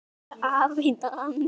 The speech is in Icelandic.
Elsku afi Danni.